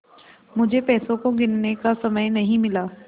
मुझे पैसों को गिनने का समय नहीं मिला